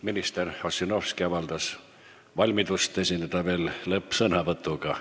Minister Ossinovski avaldas valmidust esineda lõppsõnavõtuga.